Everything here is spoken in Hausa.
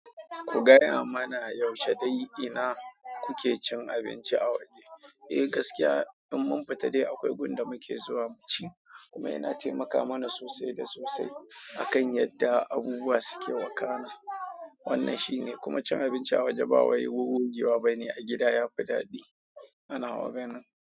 Ku gaya mana yaushe dai ina kuke cin abinci a waje? Eh gaskiya in mun fita dai akwai gunda muke zuwa muci kuma yana taimaka mana sosai da sosai akan yadda abubuwa suke wakana. Wannan shine, kuma cin abinci a waje ba waye wuwun gogewa bane a gida ya fi daɗi a nawa ganin.